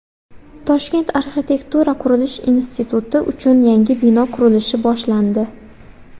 Toshkent arxitektura-qurilish instituti uchun yangi bino qurilishi boshlandi.